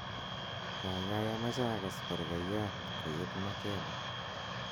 gaigai amoche agas bergeiyat koyop makeba